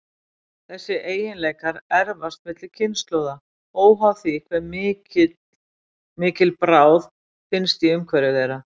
Þessir eiginleikar erfast milli kynslóða, óháð því hve mikil bráð finnst í umhverfi þeirra.